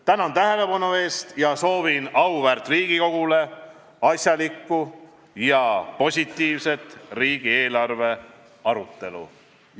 Tänan tähelepanu eest ja soovin auväärt Riigikogule asjalikku ja positiivset riigieelarve arutelu.